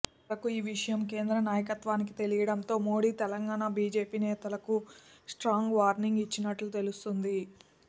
చివరకు ఈ విషయం కేంద్ర నాయకత్వానికి తెలియడంతో మోడీ తెలంగాణ బీజేపీ నేతలకు స్ట్రాంగ్ వార్నింగ్ ఇచ్చినట్టు తెలుస్తోంది